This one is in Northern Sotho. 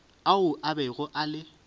ao a bego a le